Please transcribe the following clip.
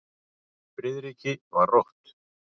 Friðriki var rótt.